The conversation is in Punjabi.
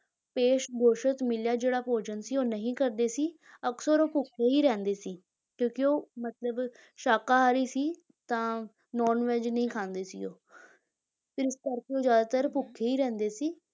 ਪੇਸ਼ ਗੋਸ਼ਤ ਮਿਲਿਆ ਜਿਹੜਾ ਭੋਜਨ ਸੀ ਉਹ ਨਹੀਂ ਕਰਦੇ ਸੀ, ਅਕਸਰ ਉਹ ਭੁੱਖੇ ਹੀ ਰਹਿੰਦੇ ਸੀ ਕਿਉਂਕਿ ਉਹ ਮਤਲਬ ਸ਼ਾਕਾਹਾਰੀ ਸੀ ਤਾਂ non veg ਨਹੀਂ ਖਾਂਦੇੇ ਸੀ ਉਹ ਤੇ ਇਸ ਕਰਕੇ ਉਹ ਜ਼ਿਆਦਾਤਰ ਭੁੱਖੇ ਹੀ ਰਹਿੰਦੇ ਸੀ।